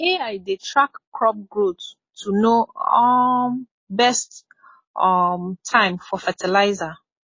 ai dey track crop growth to know um best um time for fertilizer